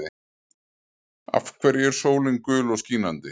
Af hverju er sólin gul og skínandi?